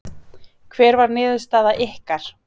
Hver var niðurstaða ykkar?